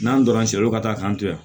N'an donra siɲɛ wɛrɛ ka taa k'an to yan